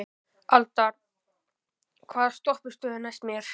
Aldar, hvaða stoppistöð er næst mér?